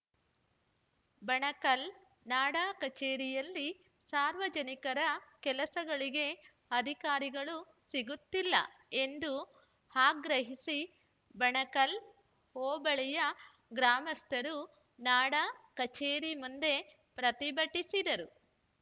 ಬಣಕಲ್‌ ನಾಡಾ ಕಚೇರಿಯಲ್ಲಿ ಸಾರ್ವಜನಿಕರ ಕೆಲಸಗಳಿಗೆ ಅಧಿಕಾರಿಗಳು ಸಿಗುತ್ತಿಲ್ಲ ಎಂದು ಆಗ್ರಹಿಸಿ ಬಣಕಲ್‌ ಹೋಬಳಿಯ ಗ್ರಾಮಸ್ಥರು ನಾಡ ಕಚೇರಿ ಮುಂದೆ ಪ್ರತಿಭಟಿಸಿದರು